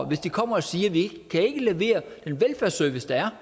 hvis de kommer og siger at de ikke kan levere den velfærdsservice der